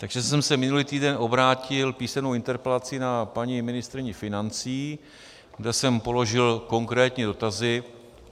Takže jsem se minulý týden obrátil písemnou interpelací na paní ministryni financí, které jsem položil konkrétní dotazy.